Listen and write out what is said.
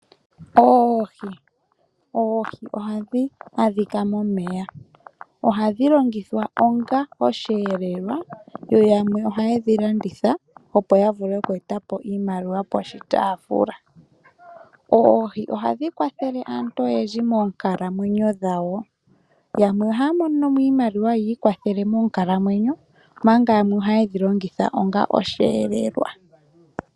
Oohi Oohi ohadhi adhika momeya. Ohadhi longithwa onga osheelelwa, yo yamwe ohaye dhi landitha, opo ya vule oku eta po iimaliwa poshitaafula. Oohi ohadhi kwathele aantu oyendji moonkalamwenyo dhawo. Yamwe ohaya mono mo iimaliwa yi ikwathele moonkalamwenyo, omanga yamwe ohaye dhi longitha onga osheelelwa.